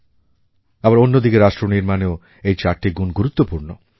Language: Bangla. আবার অন্য দিকে রাষ্ট্র নির্মাণেও এই চারটি গুণ গুরুত্বপূর্ণ